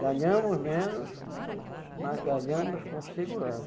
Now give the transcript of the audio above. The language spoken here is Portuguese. Ganhamos menos, mas ganhamos com segurança.